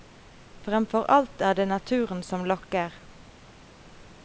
Fremfor alt er det naturen som lokker.